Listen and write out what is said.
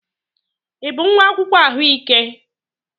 Ị bụ nwa akwụkwọ ahụike?